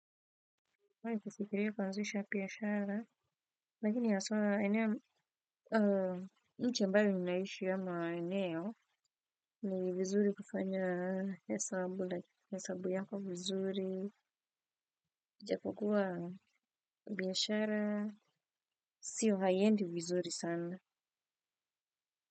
Nimewahi kufikiria kuanzisha biashara, lakini haswa, nchi ambayo ninaishi ama eneo, ni vizuri kufanya hesabu yako vizuri, ijapokuwa biashara, siyo haiendi vizuri sana.